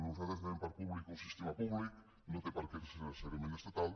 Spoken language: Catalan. nosaltres entenem per públic un sistema públic no té per què ser necessàriament estatal